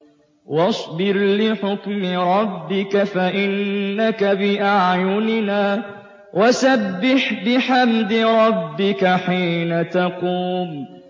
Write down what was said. وَاصْبِرْ لِحُكْمِ رَبِّكَ فَإِنَّكَ بِأَعْيُنِنَا ۖ وَسَبِّحْ بِحَمْدِ رَبِّكَ حِينَ تَقُومُ